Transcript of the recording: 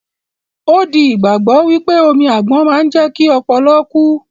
Ó di ìgbàgbọ́ wípé omi àgbon máa ń jẹ́kí ọpọlọ kú